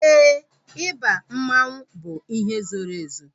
Éè, ịba mmanwu bụ ihe zoro ezo